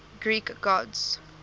greek gods